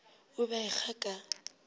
o be a ekga ka